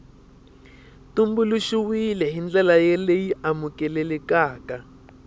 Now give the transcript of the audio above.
tumbuluxiwile hi ndlela leyi amukelekaka